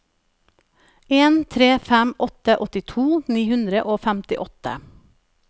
en tre fem åtte åttito ni hundre og femtiåtte